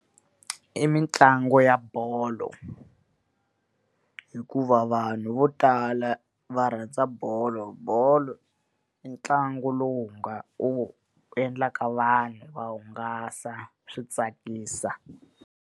I mitlangu ya bolo. Hikuva vanhu vo tala va rhandza bolo, bolo i ntlangu lowu wu endlaka vanhu va hungasa, swi tsakisa.